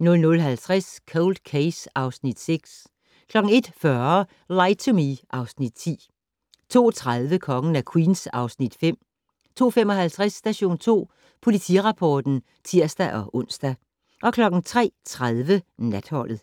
00:50: Cold Case (Afs. 6) 01:40: Lie to Me (Afs. 10) 02:30: Kongen af Queens (Afs. 5) 02:55: Station 2 Politirapporten (tir-ons) 03:30: Natholdet